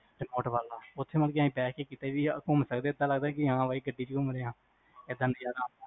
remote ਵਾਲਾ ਤੁਸੀ ਮਤਲੱਬ ਕ ਬਹਿ ਕ ਘੁੰਮ ਸਕਦੇ ਐਦਾਂ ਲੱਗਦਾ ਹਾਂ ਬਾਈ ਗੱਡੀ ਚ ਘੁੰਮ ਦੇ ਆ